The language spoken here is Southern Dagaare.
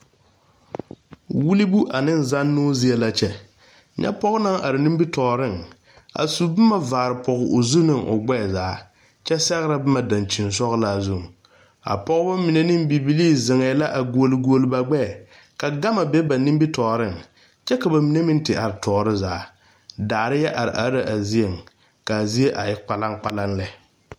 Wulibu ane zannoo zie la kyɛ nyɛ pɔge naŋ are nimitɔɔreŋ a su boma vaarepage o zu ne o gbɛɛ zaa kyɛ sɛgrɛ boma dankyinsɔglaa zuŋ a pɔgeba mine ne bibilii zeŋɛɛ la a gu guoli guoli ba gbɛɛ ka gama be ba nimitɔɔreŋ kyɛ ka ba mine meŋ te are tɔɔre zaa daare yɛ are are la a zieŋ ka a zie a e kpalaŋ kpalaŋ lɛ.